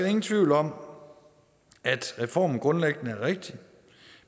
ingen tvivl om at reformen grundlæggende er rigtig